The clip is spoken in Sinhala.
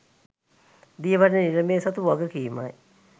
දියවඩන නිලමේ සතු වගකීමයි.